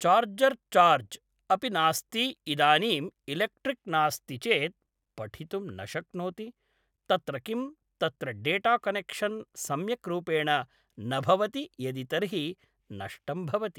charger charge अपि नास्ति इदानीं इलेक्ट्रिक् नास्ति चेत् पठितुं न शक्नोति तत्र किं तत्र डेटा कनेक्शन् सम्यक् रूपेण न भवति यदि तर्हि नष्टं भवति